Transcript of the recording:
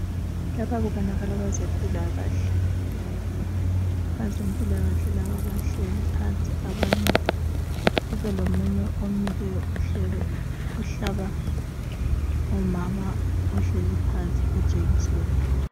Lapha kubonakala abezempilakahle, abezempilakahle laba bahleli phansi abanye kube lomunye omileyo ohlaba umama uhleli phansi ijekiseni.